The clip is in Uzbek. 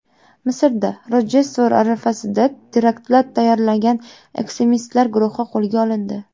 Misrda Rojdestvo arafasida teraktlar tayyorlagan ekstremistlar guruhi qo‘lga olindi.